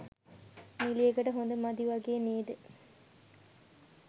නිළියකට හොඳ මදි වගේ නේද?